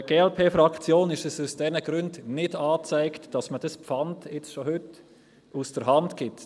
Für die Glp-Fraktion ist es aus diesen Gründen nicht angezeigt, dass man dieses Pfand schon heute aus der Hand gibt.